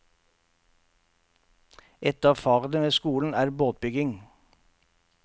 Et av fagene ved skolen er båtbygging.